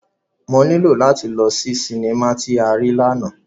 Mo nilo lati lọ si sinima ti a rii làná.